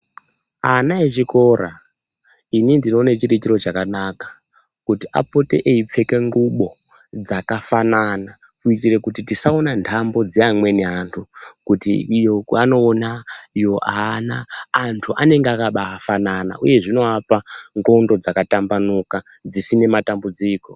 Ana echikora ini ndinoona chiri chiro chakanaka kuti apote eipfeka nguwo dzakafanana kuitira kuti tisaona ndambo dzeamweni antu kuti iyo anoona iyo aana antu anenga akabafanana uye zvinovapa ndxondo dzakatambanuka dzisina matambudziko .